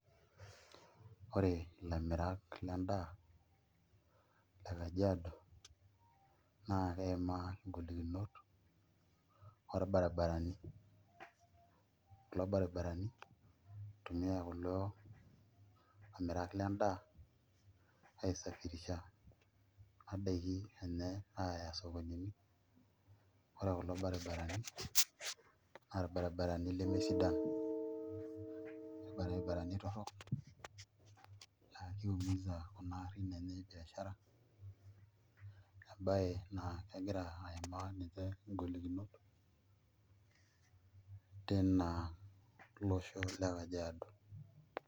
Ore ilamirak lendaa le Kajiado naa keimaa ngolikinot orbaribarani, kulo baribarani oitumiaa kulo amirak lendaa aisafirisha kuna daikin enye aaya isokonini ore kulo baribarani naa irbaribarani lemesidan irbaribarani torrok laa kiumisa kuna aarin ebiashara embaye naa kegira aimaa ninche ngolikinot tina losho le Kajiado.